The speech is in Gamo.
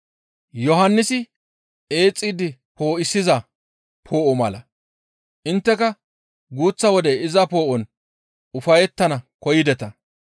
Yohannisi eexxidi poo7isiza poo7o mala. Intteka guuththa wode iza poo7on ufayettana koyideta.